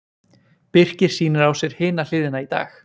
Birkir sýnir á sér Hina hliðina í dag.